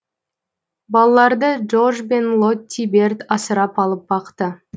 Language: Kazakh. балаларды джордж бен лотти берд асырап алып бақты